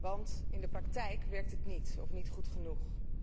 Maar in de praktijk werkt het niet, of niet goed genoeg.